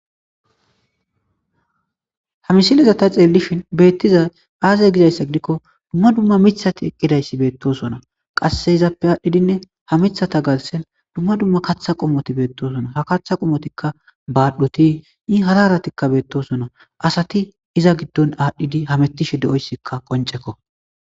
Ha misilezata xeellishin beettiza aazey gizayssa gidikko dumma dumma mithati eqqidayssi beettosona qasse izaappe aadhdhidinne ha mithata galsen dumma dumma katha qomoti beettosona ha katha qomotikka baadhoti i hara haratikka beettosona asati iza giddon aadhdhidi hamettishe de7oyssikka qoncekko.